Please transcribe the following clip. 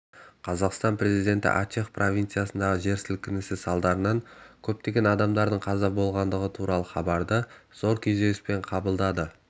қазақстан президенті ачех провинциясындағы жер сілкінісі салдарынан көптеген адамның қаза болғаны туралы хабарды зор күйзеліспен қабылдады